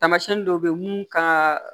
Tamasiyɛn dɔw bɛ yen mun kan ka